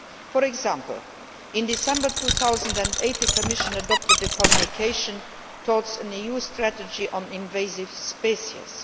For example, in December 2008, the Commission adopted a communication, Towards an EU Strategy on Invasive Species'.